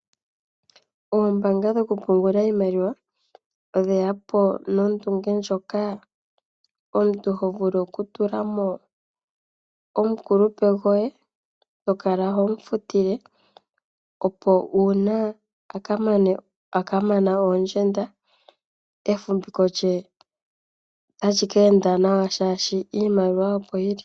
Oombaanga dhokupungula iimaliwa odhe ya po nondunge ndjoka omuntu ho vulu okutula mo omukulupe goye. Oto kala ho mu futile, opo uuna a ka mana oondjenda, efumviko lye ota li ka enda nawa, oshoka iimaliwa opo yi li.